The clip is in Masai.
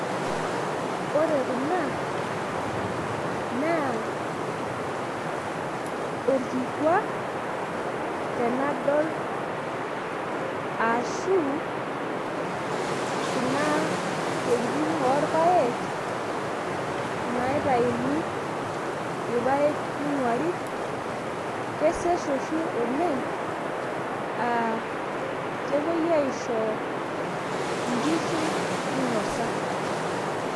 ore kuna naa orkikua tenadol, ashu kuna tokitin oorpaek, naitayuni irpaek ning'uari, kesesh oshi oleng' aa kitayuni nepuoi aisho inkishu minosa.